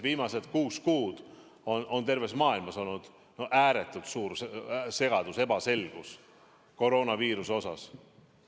Viimased kuus kuud on terves maailmas olnud ääretult suur segadus ja ebaselgus koroonaviiruse tõttu.